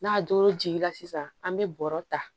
N'a doro jiginna sisan an be bɔrɔ ta